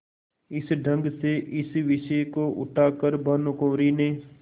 इस ढंग से इस विषय को उठा कर भानुकुँवरि ने